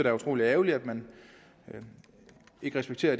er utrolig ærgerligt at man ikke respekterer